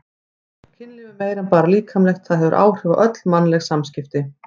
Kynlíf er meira en bara líkamlegt, það hefur áhrif á öll mannleg samskipti.